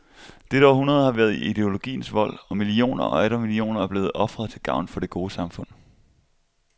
Dette århundrede har været i ideologiens vold, og millioner og atter millioner er blevet ofret til gavn for det gode samfund.